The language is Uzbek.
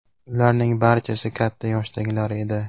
Ularning barchasi katta yoshdagilar edi.